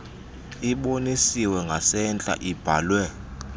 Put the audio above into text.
ibonisiwe ngasentla ibhalwe